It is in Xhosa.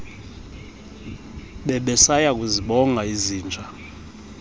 bebesaya kuzibonga izinja